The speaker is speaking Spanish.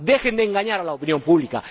Dejen de engañar a la opinión pública.